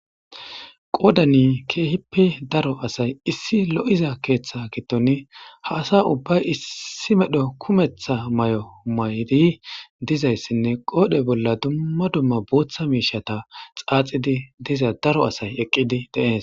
Qoodani keehippe daro asay issi lo'iza keeththa gittoni ha asa ubbay issi medho kumetha may'o mayri dizayssinne qoodhe bolla dumma dumma booththa miishata xaaxidi diza daro asay eqqidi denees